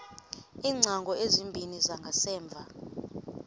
iingcango ezimbini zangasemva